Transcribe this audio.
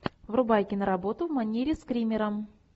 врубай киноработу в манере скримера